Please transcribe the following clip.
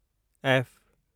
F